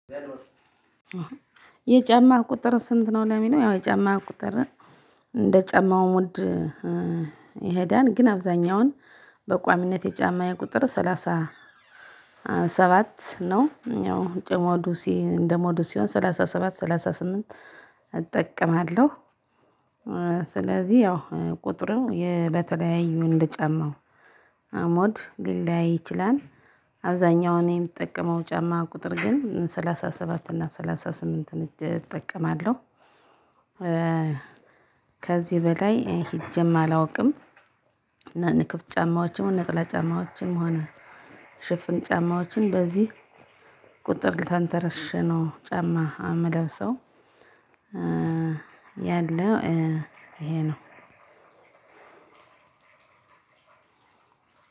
የጨማህ ቁጥር ስንት ነው? ለሚለው፤ ያው የጨማ ቁጥር እንደ ጨማው ሞድ። ይሄዳል፤ ግን አብዛኛውን በቋሚነት የጫማዬ ቁጥር ሰላሳ ሰባት ነው፤ ያው እነደሞዱ ሲሆን ሰላሳ ሰባት፣ ሰላሳ ስምንት እጠቀማለሁ፤ ስለዚህ ያው ቁጥሩ በተለያዩ እንደ ጫማው ሞድ ሊለያይ ይችላል፤ አብዛኛው እኔ የምጠቀመው ጫማ ቁጥር ግን ሰላሳ ሰባት እና ሰላሳ ስምንት እጅ እጠቀማለሁ። ከዚህ በላይ ሂጄም አላውቅም፤ እና ክፍት ጫማዎችም እና ነጠላ ጫማዎችም ጫማዎችም ሆነ፤ ሽፍን ጫማዎችን በዚህ ቁጥር ተንተርሼ ነው ጫማ የምለብሰው፤ ያለው ይሄ ነው፤